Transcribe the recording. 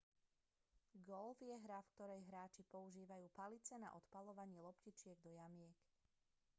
golf je hra v ktorej hráči používajú palice na odpaľovanie loptičiek do jamiek